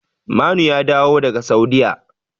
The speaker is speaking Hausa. Manu ya dawo daga Saudiyya.